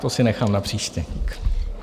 To si nechám na příště.